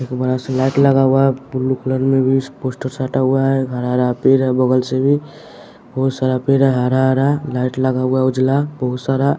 एक बड़ा सा लाइट लगा हुआ है बुलु कलर में भी इस पोस्टर साटा हुआ है हरा-हरा पेर है बगल से भी बहुत सारा पेर है हरा-हरा लाइट लगा हुआ है उजला बहुत सारा।